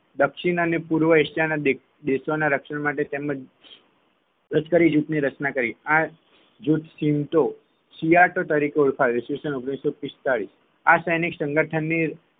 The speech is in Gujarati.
દક્ષિણ અને પૂર્વ એશિયા ના દેશો ના રક્ષણ માટે તેમજ લશ્કરી જૂથની રચના કરી આ જૂથ ચિતો સિયાટોં તરીકે ઓળખાય ઈસવીસન ઓગણીસોપિસ્તાળીસ આ સૈનિક સંગઠનની